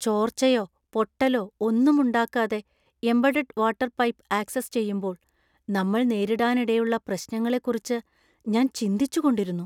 ചോർച്ചയോ, പൊട്ടലോ ഒന്നും ഉണ്ടാക്കാതെ എംബഡഡ് വാട്ടർ പൈപ്പ് ആക്‌സസ് ചെയ്യുമ്പോൾ നമ്മൾനേരിടാനിടയുള്ള പ്രശ്നങ്ങളെക്കുറിച്ച് ഞാൻ ചിന്തിച്ചുകൊണ്ടിരുന്നു.